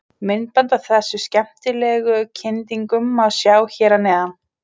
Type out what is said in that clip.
Myndband af þessum skemmtilegu kyndingum má sjá hér að neðan.